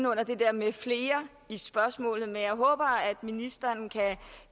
under det der med flere i spørgsmålet men jeg håber at ministeren kan